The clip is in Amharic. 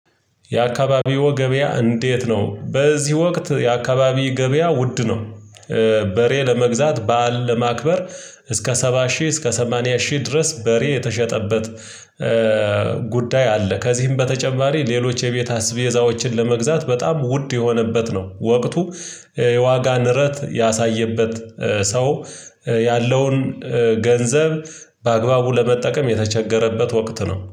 የአካባቢው ገበያ እንዴት? ነው በዚህ ወቅት የአካባቢ ገበያ ውድ ነው። በሬ ለመግዛት በዓል ለማክበር እስከ ሰባ ሺህ እስከ ሰማንያ ሺህ ድረስ በሬ የተሸጠበት። ጉዳይ አለ ከዚህም በተጨማሪ ሌሎች የቤት አስቤዛዎችን ለመግዛት በጣም ውድ የሆነበት ነው ወቅቱ። የዋጋ ንረት ያሳየበት ሰው ያለውን ገንዘብ በአግባቡ ለመጠቀም የተቸገረበት ወቅት ነው